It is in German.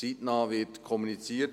Es wird zeitnah kommuniziert.